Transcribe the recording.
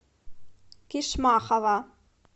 кишмахова